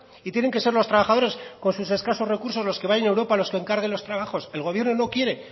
y tienen que ser los trabajadores con sus escasos recursos los que vayan a europa los que encarguen los trabajos el gobierno no quiere